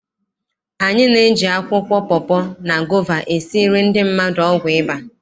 Anyị na-eji akwụkwọ pọpọ, na gova esiri ndị mmadụ ọgwụ ịba.